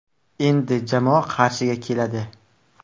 Endi jamoa Qarshiga keladi.